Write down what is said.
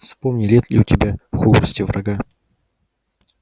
вспомни нет ли у тебя в хогвартсе врага